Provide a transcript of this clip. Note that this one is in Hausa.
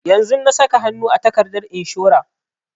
Yanzun na saka hanu a takardar inshora